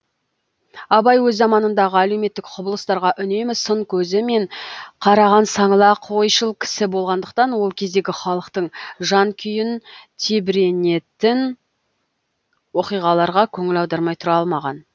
абай өз заманындағы әлеуметтік құбылыстарға үнемі сын көзі мен қараған саңлақ ойшыл кісі болғандықтан ол кездегі халықтың жан күйін тебіренетін оқиғаларға көңіл аудармай тұра алмаған